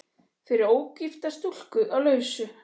Fyrir ógifta stúlku á lausu.